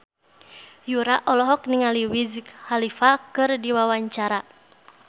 Yura olohok ningali Wiz Khalifa keur diwawancara